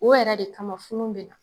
O yɛrɛ de kama funun bɛna